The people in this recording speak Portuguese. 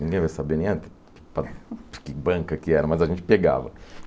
Ninguém vai saber nem a que banca que era, mas a gente pegava.